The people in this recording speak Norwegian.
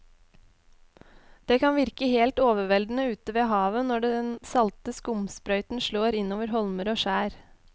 Det kan virke helt overveldende ute ved havet når den salte skumsprøyten slår innover holmer og skjær.